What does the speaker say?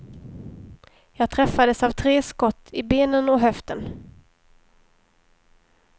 Jag träffades av tre skott, i benen och höften.